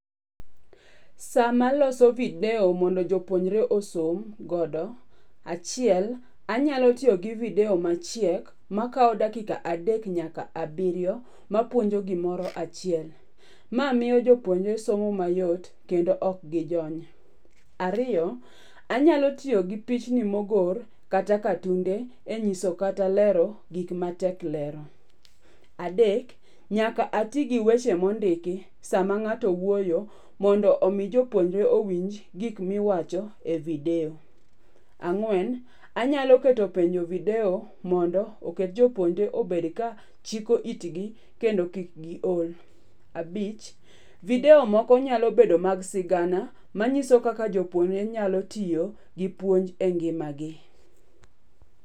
Sama aloso video mondo jopuonjre osom godo, achiel, anyalo tiyo gi video machiek makawo dakika adek nyaka abiriyo mapuonjo gimoro achiel. Ma miyo jopuonjre somo mayot kendo ok gijony. Ariyo, anyalo tiyo gi pichni mogor kata katunde e nyiso kata lero gik matek lero. Adek, nyaka ati gi weche mondiki sama ng'ato wuoyo mondo omi jopuonjre owinj gik miwacho e video. Ang'wen, anyalo keto penjo e video mondo oket jopuonjre obed ka chiko itgi kendo kik giol. Abich, video moko nyalo bedo mag sigana manyiso kaka jopuonjre nyalo tiyo gi puonj e ngimagi.